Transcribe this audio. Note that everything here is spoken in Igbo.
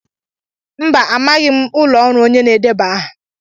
Mba, amaghị m ụlọ ọrụ onye na-edeba aha.